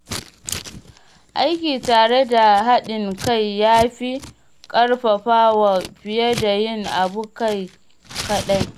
Aiki tare da haɗin kai ya fi ƙarfafawa fiye da yin abu kai kaɗai.